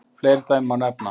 Fleiri dæmi má nefna.